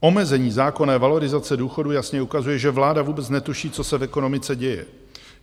Omezení zákonné valorizace důchodů jasně ukazuje, že vláda vůbec netuší, co se v ekonomice děje.